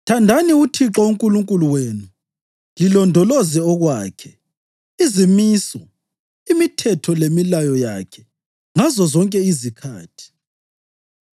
“Thandani uThixo uNkulunkulu wenu lilondoloze okwakhe, izimiso, imithetho lemilayo yakhe ngazozonke izikhathi.